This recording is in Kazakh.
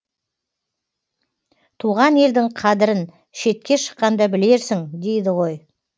туған елдің қадірін шетке шыққанда білерсің дейді ғой